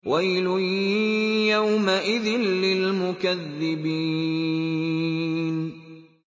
وَيْلٌ يَوْمَئِذٍ لِّلْمُكَذِّبِينَ